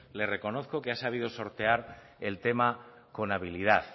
le reconozco que ha sabido sortear el tema con habilidad